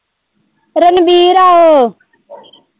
ਰਣਵੀਰ ਏ ਓ।